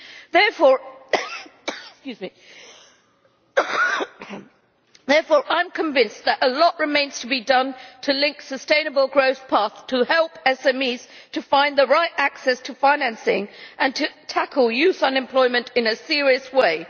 Therefore, I am convinced that a lot remains to be done to link to a sustainable growth path to help SMEs find the right access to financing, and to tackle youth unemployment in a serious way.